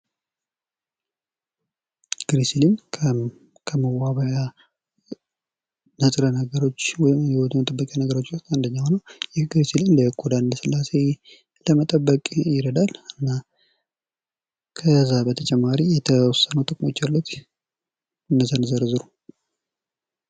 ግሪሲሊን ከመዋቢያ ንጥረ ነገሮች ወይም የውበት መጠበቂያ ነገሮች ውስጥ አንደኛው ነው ። ይህ ግሪሲሊን ለቆዳ ለስላሴ ለመጠበቅ ይረዳን ። ከዛ በተጨማሪ የተወሰኑ ጥቅሞች አሉት እነዛን ዘርዝሩ ?